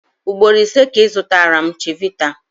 Ugboro ise ka ị zụtara m chivita.